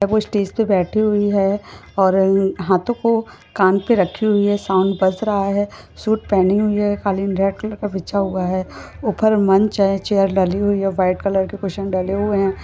वो स्टेज पे बैठी हुई है और अह- हाथोंकों कान पे रखी हुई है साउंड बज रहा है सूट पहनी हुई है कालीन रेड कलर का बिछा हुआ है उपर मंच है चैर डली हुई है व्हाईट कलर के कुशन डले हुए है।